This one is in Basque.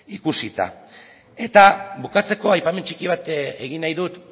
ikusita eta bukatzeko aipamen txiki bat egin nahi dut